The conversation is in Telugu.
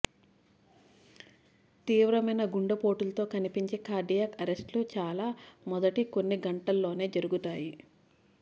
తీవ్రమైన గుండెపోటులతో కనిపించే కార్డియాక్ అరెస్టులు చాలా మొదటి కొన్ని గంటల్లోనే జరుగుతాయి